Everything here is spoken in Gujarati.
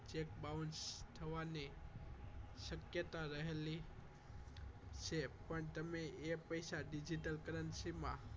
Cheque bounce થવાની શક્યતા રહેલી છે પણ તમે એ જ પૈસા digital currency માં